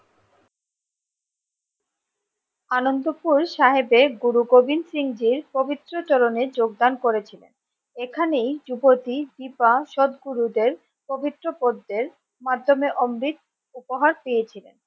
আনন্দপুর সাহেবের গুরু গোবিন্দ সিংজির পবিত্র চরণে যোগদান করেছিলেন এখানেই যুবতী দীপা সৎগুরুদের পবিত্র পদ্মের মাধ্যমে অমৃত উপহার পেয়েছিলেন।